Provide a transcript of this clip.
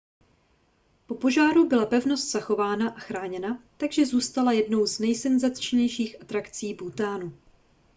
po požáru byla pevnost zachována a chráněna takže zůstala jednou z nejsenzačnějších atrakcí bhútánu